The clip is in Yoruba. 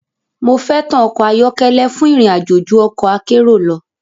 Mo fẹ́tàn ọkọ̀ ayọ́kẹ́lẹ́ fún ìrìn àjò ju ọ̀kọ̀ akérò lọ.